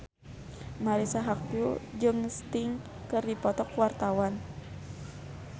Marisa Haque jeung Sting keur dipoto ku wartawan